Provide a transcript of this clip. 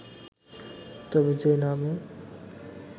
তবে যেই না আমি